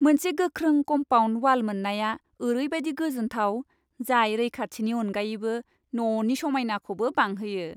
मोनसे गोख्रों compound wall मोननाया ओरैबादि गोजोनथाव जाय रैखाथिनि अनगायैबो ननि समायनायखौबो बांहोयो।